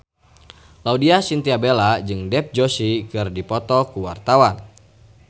Laudya Chintya Bella jeung Dev Joshi keur dipoto ku wartawan